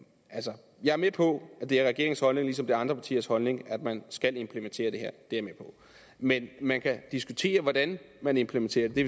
jeg er med på at det er regeringens holdning lige som det er andre partiers holdning at man skal implementere det her men man kan diskutere hvordan man implementerer det